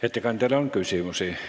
Ettekandjale on küsimusi.